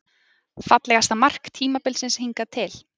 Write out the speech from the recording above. Fallegasta mark tímabilsins hingað til?